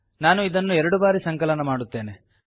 ನಾನು ಇದನ್ನು ಎರಡು ಬಾರಿ ಸಂಕಲನ ಮಾಡುತ್ತೇನೆ